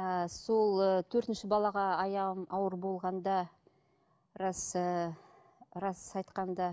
ыыы сол ы төртінші балаға аяғым ауыр болғанда рас ыыы рас айтқанда